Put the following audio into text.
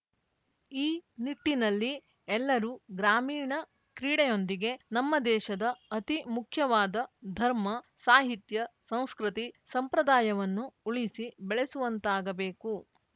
ಈ ನಿಟ್ಟಿನಲ್ಲಿ ಎಲ್ಲರೂ ಗ್ರಾಮೀಣ ಕ್ರೀಡೆಯೊಂದಿಗೆ ನಮ್ಮ ದೇಶದ ಅತಿ ಮುಖ್ಯವಾದ ಧರ್ಮ ಸಾಹಿತ್ಯ ಸಂಸ್ಕೃತಿ ಸಂಪ್ರದಾಯವನ್ನು ಉಳಿಸಿ ಬೆಳಸುವಂತಾಗಬೇಕು